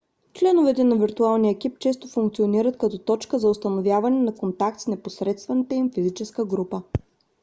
членовете на виртуалния екип често функционират като точка за установяване на контакт с непосредствената им физическа група